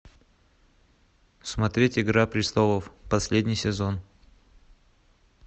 смотреть игра престолов последний сезон